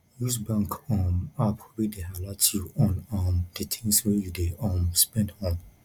use bank um app wey dey alert you on um di things wey you dey um spend on